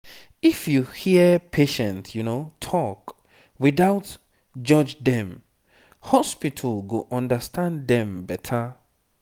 if you hear patient talk without judge dem hospital go understand dem better